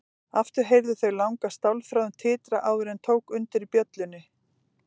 Aftur heyrðu þau langa stálþráðinn titra áður en tók undir í bjöllunni.